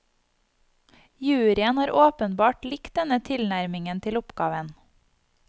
Juryen har åpenbart likt denne tilnærmingen til oppgaven.